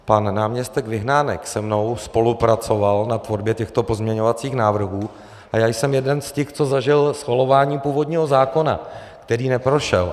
Pan náměstek Vyhnánek se mnou spolupracoval na tvorbě těchto pozměňovacích návrhů a já jsem jeden z těch, co zažil schvalování původního zákona, který neprošel.